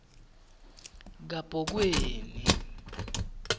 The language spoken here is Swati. kabhoweni